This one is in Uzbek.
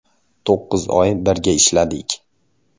“To‘qqiz oy birga ishladik.